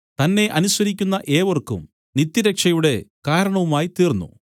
തന്നെ അനുസരിക്കുന്ന ഏവർക്കും നിത്യരക്ഷയുടെ കാരണവുമായിത്തീർന്നു